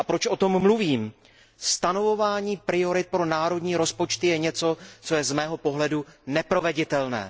Proč o tom mluvím? Stanovování priorit pro národní rozpočty je něco, co je z mého pohledu neproveditelné.